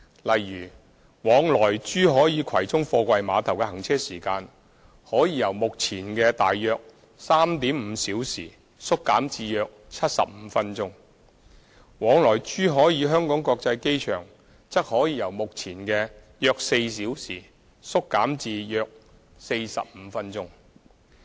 例如，往來珠海與葵涌貨櫃碼頭的行車時間可以由目前的大約 3.5 小時縮減至約75分鐘；往來珠海與香港國際機場則可以由目前的約4小時縮減至約45分鐘。